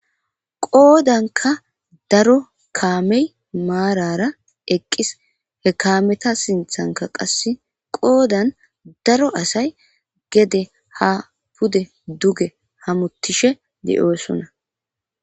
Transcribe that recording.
Qoda ka daro kamey marara eqis he kameta sinthanka qase qodan daro asay gede ha pude duge hamutishe de'osona.